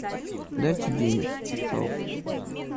дайте денег пожалуйста